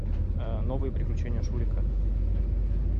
новые приключения шурика